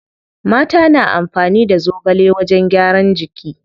Mata na amfani da zogale wajen gyaran jiki.